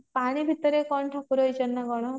ପାଣି ଭିତରେ କଣ ଠାକୁର ହେଇଛନ୍ତି ନା କଣ